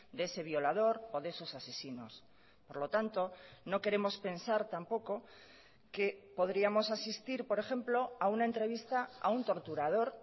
de ese violador o de esos asesinos por lo tanto no queremos pensar tampoco que podríamos asistir por ejemplo a una entrevista a un torturador